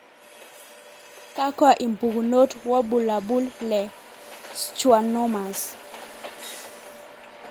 Kakwa impukunot wobulabul le schwannomas?